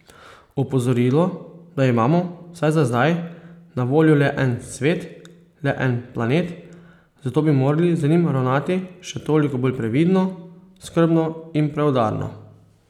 Opozorilo, da imamo, vsaj za zdaj, na voljo le en svet, le en planet, zato bi morali z njim ravnati še toliko bolj previdno, skrbno in preudarno.